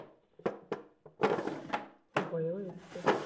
হয়েও এসেছে